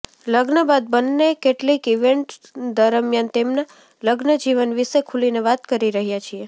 લગ્ન બાદ બંને કેટલીક ઈવેન્ટ્સ દરમિયાન તેમના લગ્નજીવન વિશે ખુલીને વાત કરી રહ્યા છીએ